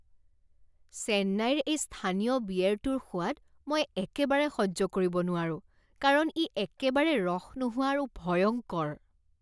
চেন্নাইৰ এই স্থানীয় বিয়েৰটোৰ সোৱাদ মই একেবাৰে সহ্য কৰিব নোৱাৰো কাৰণ ই একেবাৰে ৰস নোহোৱা আৰু ভয়ংকৰ।